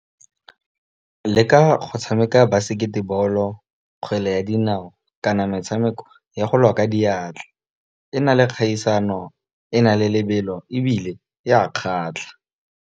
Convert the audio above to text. Leka go tshameka basekete ball-o kgwele ya dinao, kana metshameko ya go lwa ka diatla, e na le kgaisano e na le lebelo ebile e a kgatlha.